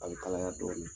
A bɛ kalaya dɔɔnin